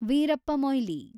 Veerappa Moily